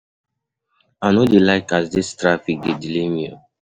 I no dey like as dis traffic dey delay me o.